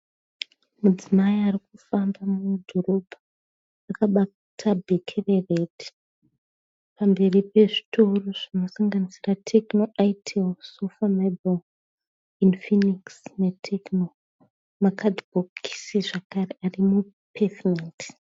Mudzimai arikufamba mudhorobha akabata bheke reredhi. Pamberi pezvitoro zvinosanganisira TECNO, SOFA MOBILE, INFINIX neTECNO. Makadhibhokisi zvakare ari mupevhumendi.